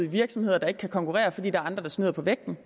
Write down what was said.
virksomheder der ikke kan konkurrere fordi der er andre der snyder på vægten